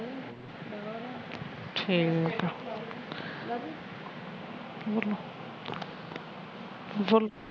ਠੀਕ ਆ ਬੋਲੋ ਬੋਲੋ